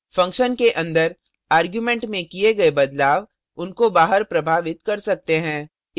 function के अंदर arguments में किए गए बदलाव उनको बाहर प्रभावित कर सकते हैं